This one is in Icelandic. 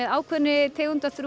ákveðinni tegund af